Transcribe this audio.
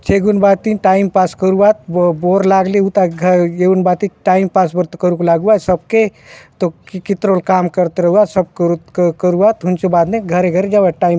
चैगुन भांति time pass करुआत बोर लागले हुंता एउन भांति टाइम पास बले तो करुक लाउआय सबके तो कितरो ले काम करते रहुआत सब करुआत हुन्चो बाद में घरे-घरे जाऊआत।